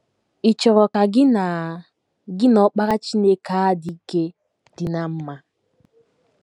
Ị̀ chọrọ ka gị na gị na Ọkpara Chineke a dị ike dị ná mma?